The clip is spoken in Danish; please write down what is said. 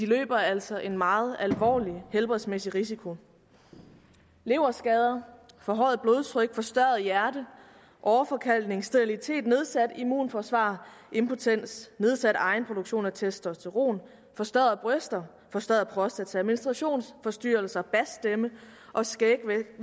løber altså en meget alvorlig helbredsmæssig risiko leverskader forhøjet blodtryk forstørret hjerte åreforkalkning sterilitet nedsat immunforsvar impotens nedsat egenproduktion af testosteron forstørrede bryster forstørret prostata menstruationsforstyrrelser basstemme og skægvækst